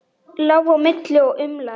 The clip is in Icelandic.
Lá á milli og umlaði.